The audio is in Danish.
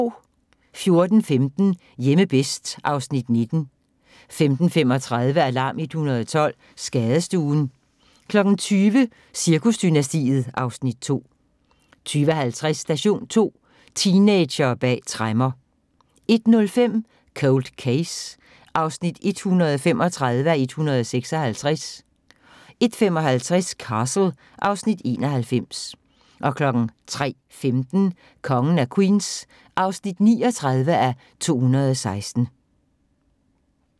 14:15: Hjemme bedst (Afs. 19) 15:35: Alarm 112 – Skadestuen 20:00: Cirkusdynastiet (Afs. 2) 20:50: Station 2: Teenagere bag tremmer 01:05: Cold Case (135:156) 01:55: Castle (Afs. 91) 03:15: Kongen af Queens (39:216)